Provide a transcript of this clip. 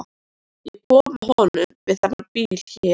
Ég kom að honum við þennan bíl hérna.